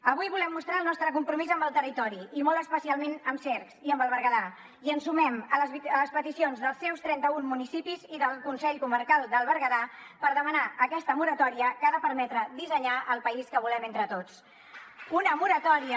avui volem mostrar el nostre compromís amb el territori i molt especialment amb cercs i amb el berguedà i ens sumem a les peticions dels seus trenta un municipis i del consell comarcal del berguedà per demanar aquesta moratòria que ha de permetre dissenyar el país que volem entre tots una moratòria